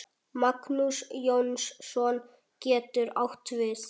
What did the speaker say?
Magnús Jónsson getur átt við